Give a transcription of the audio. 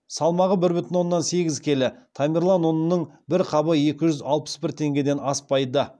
салмағы бір бүтін оннан сегіз келі тамерлан ұнының бір қабы екі жүз алпыс бір теңгеден аспайды